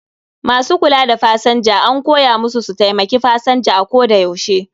Masu kula da pasanja an koya musu su taimaki pasanja a koda yaushe